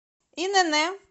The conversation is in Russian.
инн